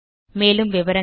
மேலும் தகவல்களுக்கு